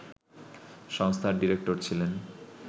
সংস্থার ডিরেক্টর ছিলেন